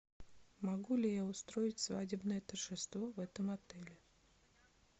могу ли я устроить свадебное торжество в этом отеле